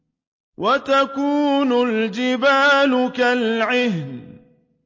وَتَكُونُ الْجِبَالُ كَالْعِهْنِ